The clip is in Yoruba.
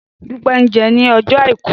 Dúpẹ́ jẹun ní ọjọ́ Àìkú.